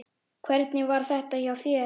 Hvernig var þetta hjá þér?